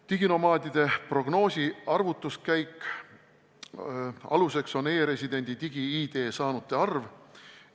Diginomaadide prognoosi arvutuskäigu aluseks on e-residendi digi-ID saanute arv.